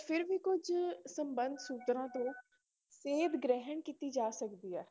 ਫਿਰ ਵੀ ਕੁੱਝ ਸੰਬੰਧ ਸੂਤਰਾਂ ਤੋਂ ਸੇਧ ਗ੍ਰਹਿਣ ਕੀਤੀ ਜਾ ਸਕਦੀ ਹੈ।